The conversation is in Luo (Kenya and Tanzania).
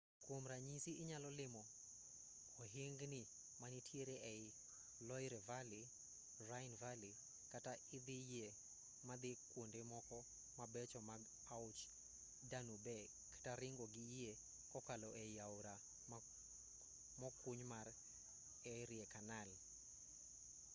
kwom ranyisi inyalo limo ohingni manitiere ei loire valley rhine valley kata idho yie madhi kwonde moko mabecho mag aoch danube kata ringo gi yie kokalo ei aora mokuny mar erie canal